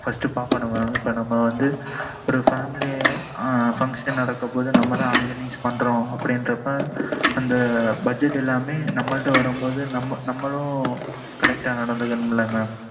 first பாக்கணும் mam இப்பம் family function நடக்கும் போது நம்ம தான் organise பண்ணுறன்னு அப்பம் அந்த budget ல நம்மட வரும் போது நம்மளும் correct ஆ நடந்துக்கிடனும் ல mam